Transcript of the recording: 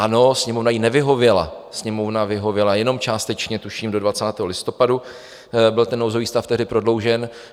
Ano, Sněmovna jí nevyhověla, Sněmovna vyhověla jenom částečně, tuším do 20. listopadu byl ten nouzový stav tehdy prodloužen.